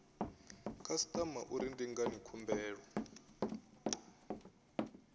khasitama uri ndi ngani khumbelo